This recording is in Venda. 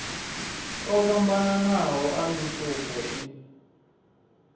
o fhambananaho a mitupo i